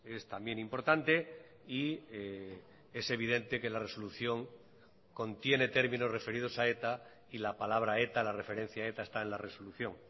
es también importante y es evidente que la resolución contiene términos referidos a eta y la palabra eta la referencia a eta está en la resolución